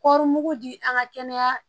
Kɔri mugu di an ka kɛnɛya